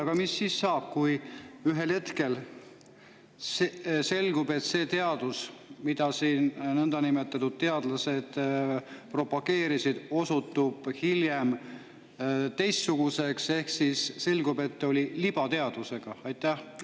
Aga mis siis saab, kui ühel hetkel selgub, et see teadus, mida siin nõndanimetatud teadlased propageerisid, osutub hiljem teistsuguseks ehk selgub, et oli libateadusega?